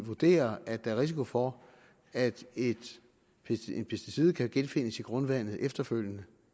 vurderer at der er risiko for at et pesticid kan genfindes i grundvandet efterfølgende